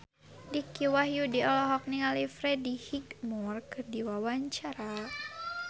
Dicky Wahyudi olohok ningali Freddie Highmore keur diwawancara